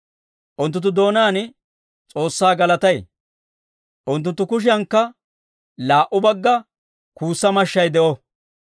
Unttunttu doonaan S'oossaa galatay, unttunttu kushiyankka laa"u bagga kuussa mashshay de'o.